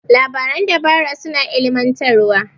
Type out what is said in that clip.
Labaran dabara suna ilimantarwa.